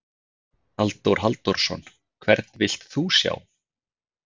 Halldór Halldórsson: Hvern vilt þú sjá?